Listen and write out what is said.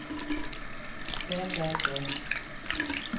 da da da